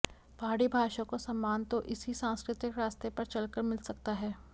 पहाड़ी भाषा को सम्मान तो इसी सांस्कृतिक रास्ते पर चलकर मिल सकता है